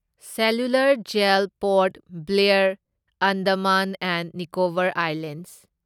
cellular jail Port Blair, Andaman and Nicobar islands